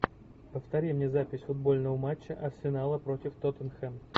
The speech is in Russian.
повтори мне запись футбольного матча арсенала против тоттенхэм